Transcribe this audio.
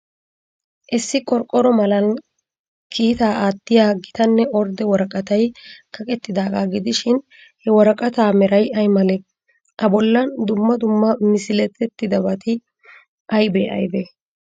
Issi qorqqoro malan kiitaa aatiya gitanne ordde woraqatay kaqettidaaga gidishin, he woraqataa meray ay malee? A bollan dumma dumma misilettidabati aybee aybee?